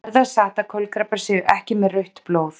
Er það satt að kolkrabbar séu ekki með rautt blóð?